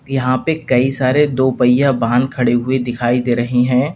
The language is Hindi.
यहां पे कई सारे दो पहिया वाहन खड़े हुए दिखाई दे रहे हैं।